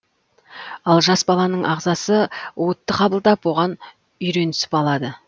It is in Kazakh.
ал жас баланың ағзасы уытты қабылдап оған үйренісіп алады